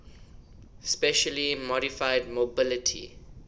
specially modified mobility